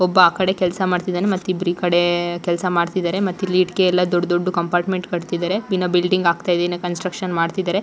ಒಬ್ಬ ಆ ಕಡೆ ಕೆಲಸ ಮಾಡ್ತಿದ್ದಾನೆ ಮತ್ತಿಬ್ಬರು ಈ ಕಡೆ ಕೆಲಸ ಮಾಡ್ತಿದ್ದಾರೆ ಮತ್ತೆ ಇಲ್ಲಿ ಇಟ್ಟಿಗೆಯಲ್ಲಿ ದೊಡ್ಡ ದೊಡ್ಡ ಕಂಪಾರ್ಟ್ಮೆಂಟ್ ಕಟ್ಟುತ್ತಿದ್ದಾರೆ ಇನ್ನು ಬಿಲ್ಡಿಂಗ್ ಆಗ್ತಾ ಇದೆ ಕನ್ಸ್ಟ್ರಕ್ಷನ್ ಮಾಡ್ತಿದ್ದಾರೆ.